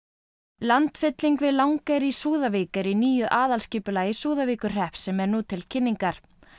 landfylling við Langeyri í Súðavík er í nýju aðalskipulagi Súðavíkurhrepps sem er nú til kynningar